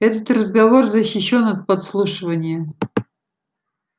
этот разговор защищён от подслушивания